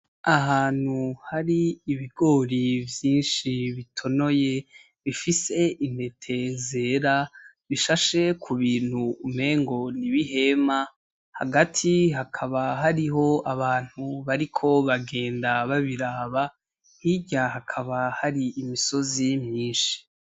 Ahantu hari ibigori vyinshi bitonoye , bifise intete zera bishashe ku bintu umengo n’ibihema, hagati hakaba hariho abantu bariko bagenda babiraba, hirya hakaba hari imisozi myinshi.